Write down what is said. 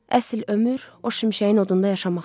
Əsl ömür o şimşəyin odunda yaşamaqdır.